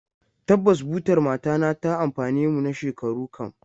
Tabbas, butar matana ta amfane mu na shekaru kam.